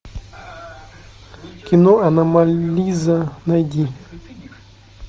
кино аномализа найди